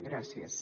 gràcies